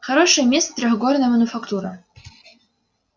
хорошее место трехгорная мануфактура